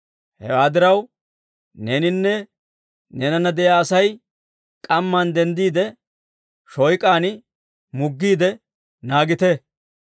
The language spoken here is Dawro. Hewaa diraw, neeninne neenana de'iyaa Asay k'amman denddiide, shooyk'aan muggiide naagite.